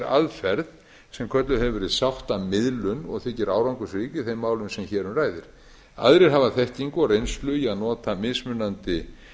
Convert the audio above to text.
aðferð sem kölluð hefur verið sáttamiðlun og þykir árangursrík í þeim málum sem hér um ræðir aðrir hafa þekkingu og reynslu í að nota mismunandi